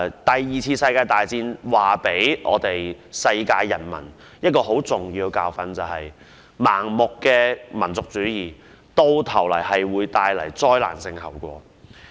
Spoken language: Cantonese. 第二次世界大戰留給世界人民一個十分重要的教訓，便是盲目的民族主義最終會帶來災難性後果。